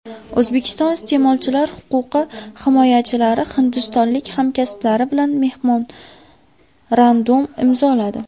O‘zbekiston iste’molchilar huquqi himoyachilari hindistonlik hamkasblari bilan memorandum imzoladi.